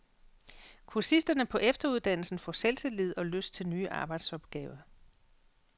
Kursisterne på efteruddannelsen får selvtillid og lyst til nye arbejdsopgaver.